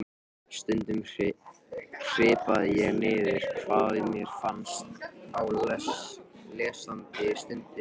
Stundum hripaði ég niður hvað mér fannst á lesandi stundu.